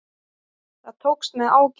Það tókst með ágætum.